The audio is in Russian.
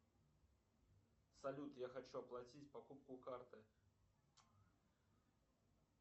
салют я хочу оплатить покупку картой